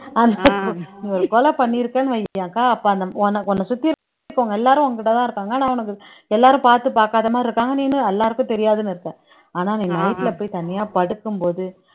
நீ ஒரு கொலை பண்ணிருக்கேன்னு வை அக்கா அப்ப அந்த உன்னை உன்னை சுத்தி இருக்கவங்க எல்லாரும் உன்கிட்டதான் இருக்காங்க ஆனா உனக்கு எல்லாரும் பார்த்து பார்க்காத மாதிரி இருக்காங்க நீனு எல்லாருக்கும் தெரியாதுன்னு இருப்ப ஆனா நீ night ல போய் தனியா படுக்கும் போது